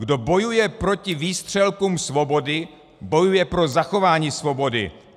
"Kdo bojuje proti výstřelkům svobody, bojuje pro zachování svobody.